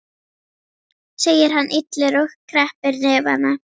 segir hann illur og kreppir hnefana.